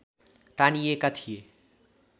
तानिएका थिए